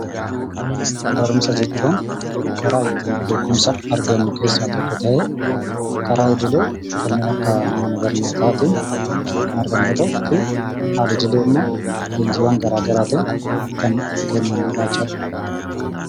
Barumsa jechuun karaa ittiin beekumsa argannu keessaa tokko ta'ee, karaa idilee kanneen akka mana barnootaatiin kan argannu yoo ta'u fi al-idilee immoo leenjiiwwan garaa garaatiin kan kennamudha jechuudha.